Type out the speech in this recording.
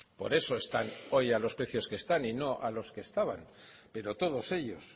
por eso están hoy a los precios que están y no a los que estaban pero todos ellos